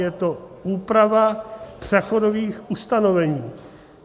Je to úprava přechodových ustanovení.